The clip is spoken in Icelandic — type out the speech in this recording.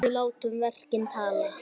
Við látum verkin tala!